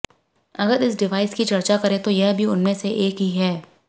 अगर इस डिवाइस की चर्चा करें तो यह भी उनमें से एक ही हैं